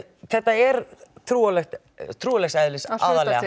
þetta er trúarlegs trúarlegs eðlis aðallega